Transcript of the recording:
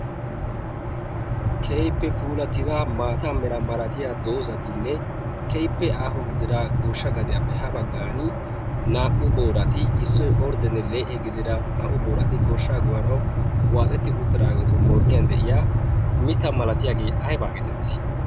Keehippe puulatida maata mera malatiya doozatinne keippe aaho gidira gooshsha gadiyaappe ha baggan naa'u boorati issoy orddene lee'e gidida naa'u boorati gooshsha goyanawu waaxetti uttidaageetu morggiyan de'iya mitta malatiyaagee aybaa getetti?